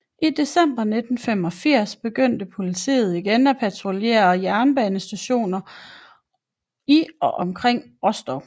I december 1985 begyndte politiet igen at patruljere jernbanestationer i og omkring Rostov